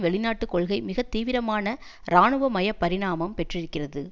வெளிநாட்டு கொள்கை மிக தீவிரமான இராணுவமய பரிணாமம் பெற்றிருக்கிறது